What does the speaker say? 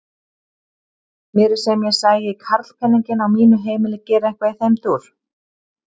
Mér er sem ég sæi karlpeninginn á mínu heimili gera eitthvað í þeim dúr!